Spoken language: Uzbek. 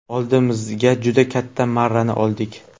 Oldimizga juda katta marrani oldik.